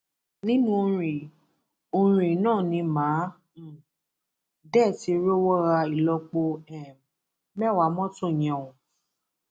nǹkan ìdojútì gbáà ni ẹgbẹrún mẹjọ owó ètò amáratuni tí ìjọba kéde àtàwọn ọrọ míín bẹẹ bẹẹ lọ